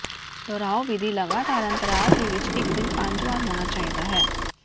ਦੁਹਰਾਓ ਵਿਧੀ ਲਗਾਤਾਰ ਅੰਤਰਾਲ ਤੇ ਇੱਕ ਦਿਨ ਪੰਜ ਵਾਰ ਹੋਣਾ ਚਾਹੀਦਾ ਹੈ